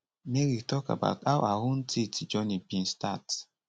mary tok about how her own teeth journey bin start